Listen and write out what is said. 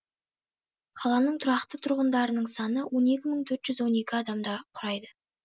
қаланың тұрақты тұрғындарының саны он екі мың төрт жүз адамды құрайды